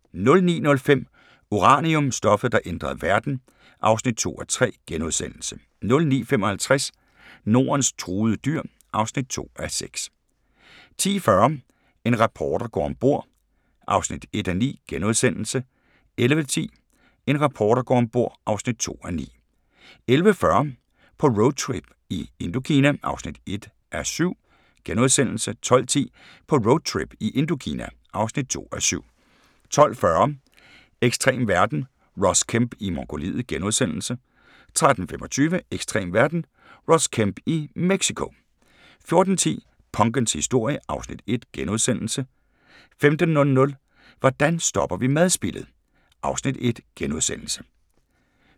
09:05: Uranium – stoffet, der ændrede verden (2:3)* 09:55: Nordens truede dyr (2:6) 10:40: En reporter går om bord (1:9)* 11:10: En reporter går om bord (2:9) 11:40: På roadtrip i Indokina (1:7)* 12:10: På roadtrip i Indokina (2:7) 12:40: Ekstrem verden – Ross Kemp i Mongoliet * 13:25: Ekstrem verden - Ross Kemp i Mexico 14:10: Punkens historie (Afs. 1)* 15:00: Hvordan stopper vi madspildet? (Afs. 1)*